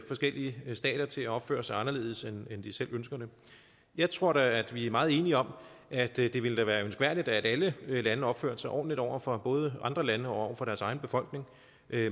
forskellige stater til at opføre sig anderledes end de selv ønsker det jeg tror da at vi er meget enige om at det da ville være ønskværdigt at alle lande opførte sig ordentligt over for både andre lande og over for deres egen befolkning